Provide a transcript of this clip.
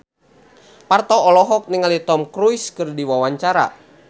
Parto olohok ningali Tom Cruise keur diwawancara